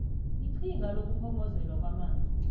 iqhinga lokukhongozelwa kwamanzi